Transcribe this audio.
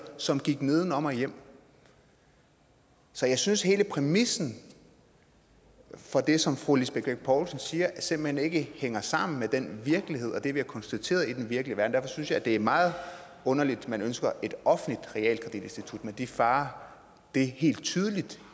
som gik nedenom og hjem så jeg synes at hele præmissen for det som fru lisbeth bech poulsen siger simpelt hen ikke hænger sammen med den virkelighed og det vi har konstateret i den virkelige verden derfor synes jeg det er meget underligt at man ønsker et offentligt realkreditinstitut med de farer det helt tydeligt